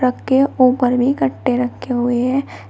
Truck के ऊपर भी कट्टे रखे हुए है।